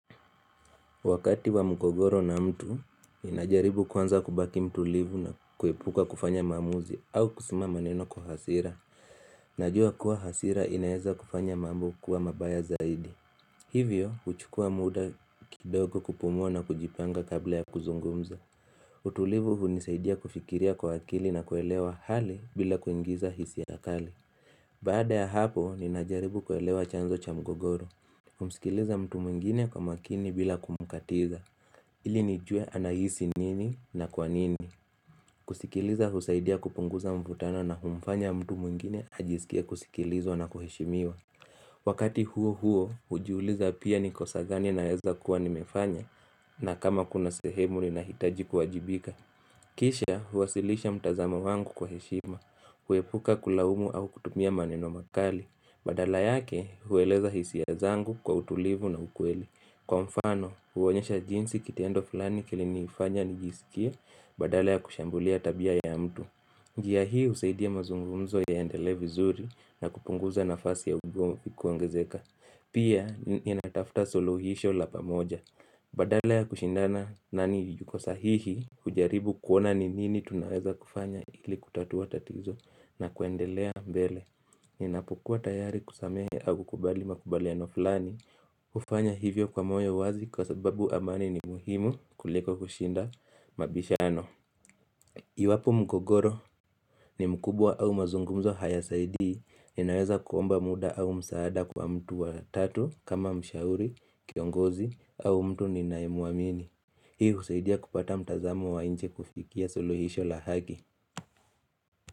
Wakati wa mgogoro na mtu, ninajaribu kwanza kubaki mtulivu na kuepuka kufanya maamuzi au kusema maneno kwa hasira. Najua kuwa hasira inaeza kufanya mambo kuwa mabaya zaidi. Hivyo, huchukua muda kidogo kupumua na kujipanga kabla ya kuzungumza. Utulivu hunisaidia kufikiria kwa akili na kuelewa hali bila kuingiza hisia kali. Baada ya hapo, ninajaribu kuelewa chanzo cha mgogoro. Kumsikiliza mtu mwingine kwa makini bila kumkatiza. Ili nijue anahisi nini na kwa nini kusikiliza husaidia kupunguza mvutano na humfanya mtu mwingine ajisikie kusikilizwa na kuheshimiwa Wakati huo huo hujiuliza pia ni kosa gani naweza kuwa nimefanya na kama kuna sehemu linahitaji kuwajibika Kisha huwasilisha mtazamo wangu kwa heshima huepuka kulaumu au kutumia maneno makali Badala yake hueleza hisia zangu kwa utulivu na ukweli. Kwa mfano, huonyesha jinsi kitendo fulani kilinifanya nijisikie, badala ya kushambulia tabia ya mtu njia hii husaidia mazungumzo yaendelee vizuri na kupunguza nafasi ya ugomvi kuongezeka Pia, ninatafuta suluhisho la pamoja Badala ya kushindana nani yuko sahihi, hujaribu kuona ni nini tunaweza kufanya ili kutatua tatizo na kuendelea mbele Ninapokuwa tayari kusamehe au kubali makubaliano fulani hufanya hivyo kwa moyo wazi kwa sababu amani ni muhimu kuliko kushinda mabishano Iwapo mgogoro ni mkubwa au mazungumzo haya saidii ninaweza kuomba muda au msaada kwa mtu wa tatu kama mshauri kiongozi au mtu ninayemuamini Hii husaidia kupata mtazamo wa nje kufikia suluhisho la haki.